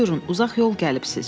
Buyurun, uzaq yol gəlibsiz.